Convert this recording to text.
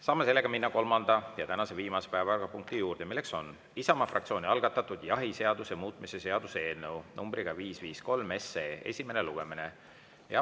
Saame seega minna kolmanda ja tänase viimase päevakorrapunkti juurde: Isamaa fraktsiooni algatatud jahiseaduse muutmise seaduse eelnõu 553 esimene lugemine.